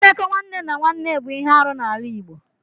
Mmekọ nwanne na nwanne bụ ihe arụ n'ala Igbo.